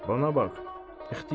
Bana bax, ixtiyar.